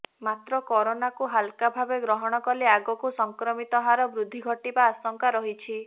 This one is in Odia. ମାତ୍ର କରୋନାକୁ ହାଲକା ଭାବେ ଗ୍ରହଣ କଲେ ଆଗକୁ ସଂକ୍ରମିତ ହାର ବୃଦ୍ଧି ଘଟିବା ଆଶଙ୍କା ରହିଛି